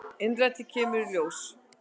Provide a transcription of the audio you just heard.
Innrætið kemur í ljós.